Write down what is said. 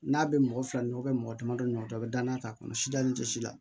N'a bɛ mɔgɔ fila ɲɔgɔn bɛ mɔgɔ damadɔ ɲɔgɔn a bɛ danaya k'a kɔnɔ sida la